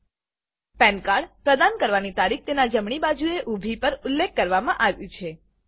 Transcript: પાન cardપેન કાર્ડ પ્રદાન કરવાની તારીખ તેના જમણી બાજુએ ઉભી પર ઉલ્લેખ કરવામાં આવ્યું છે